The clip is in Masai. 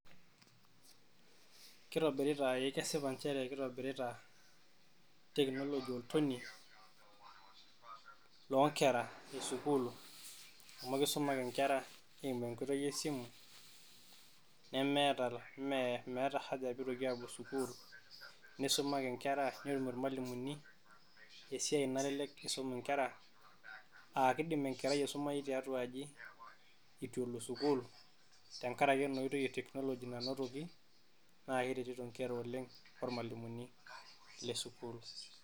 Keitobirita ee keshipa nchere keitobirita, tekinoloji oltonei loonkera esukuul amu keisuma ake Nkera eimu enkoitoi esimu nemeeta meeta haja peitoki aapuo sukuul neisuma ake Nkera netum irmalimuni esiai nalelek eisum Inkera aa keidim Enkerai aisumayu tiatua aji eitu elo sukuul tengaraki ena oitoi etekinoloji nanotoki naa ekeretito oleng' irmalimuni Le sukuul.